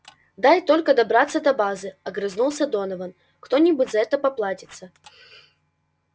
дай только добраться до базы огрызнулся донован кто-нибудь за это поплатится